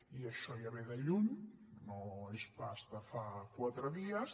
i això ja ve de lluny no és pas de fa quatre dies